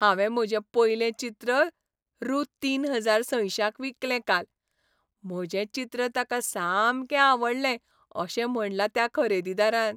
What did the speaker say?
हांवें म्हजें पयलें चित्र रु. तीन हजार सयशांक विकलें काल. म्हजें चित्र ताका सामकें आवडलें अशें म्हणलां त्या खरेदीदारान